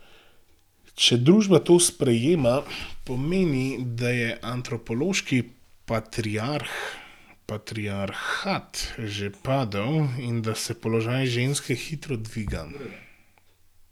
Če družba to sprejema, pomeni, da je antropološki patriarhat že padel in da se položaj ženske hitro dviga.